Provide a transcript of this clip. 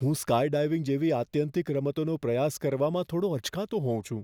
હું સ્કાયડાઈવિંગ જેવી આત્યંતિક રમતોનો પ્રયાસ કરવામાં થોડો અચકાતો હોઉં છું.